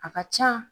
A ka ca